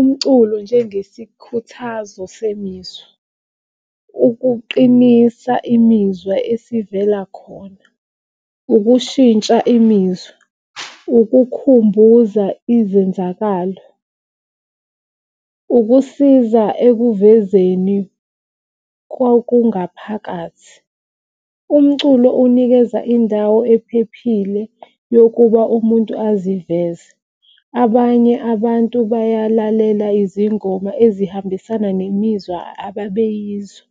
Umculo njengesikhuthazo semizwa, ukuqinisa imizwa esivela khona, ukushintsha imizwa, ukukhumbuza izenzakalo, ukusiza ekuvezeni kokungaphakathi. Umculo unikeza indawo ephephile yokuba umuntu aziveze. Abanye abantu bayalalela izingoma ezihambisana nemizwa ababeyizwa